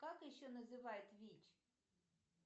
как еще называют вич